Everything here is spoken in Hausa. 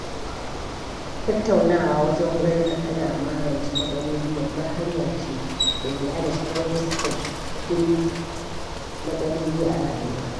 Tattaunawa wajen ganin an magance matsaloli babbar hanya ce da ke hana shigar wasu sababbin matsaloli a rayuwa.